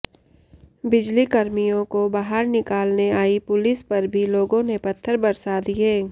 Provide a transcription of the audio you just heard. बिजली कर्मियों को बाहर निकालने आई पुलिस पर भी लोगों ने पत्थर बरसा दिए